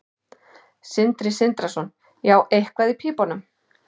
Sindri Sindrason: Já, eitthvað í pípunum?